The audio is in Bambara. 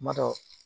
Kuma dɔ